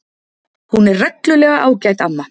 Hún er reglulega ágæt amma.